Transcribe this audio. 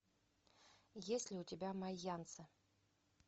есть ли у тебя майянцы